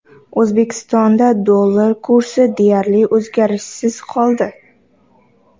O‘zbekistonda dollar kursi deyarli o‘zgarishsiz qoldi.